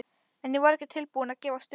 En ég var ekki tilbúin að gefast upp.